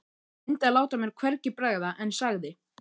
Ég reyndi að láta mér hvergi bregða en sagði